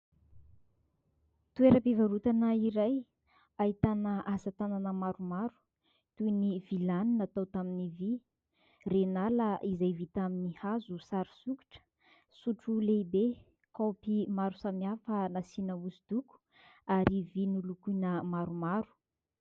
Toeram-pivarotana iray ahitana asa tanana maromaro toy ny vilany natao tamin'ny vy, renala izay vita amin'ny hazo sary sokitra, sotro lehibe, kaopy maro samihafa nasiana hosodoko ary vilia nolokoina maromaro.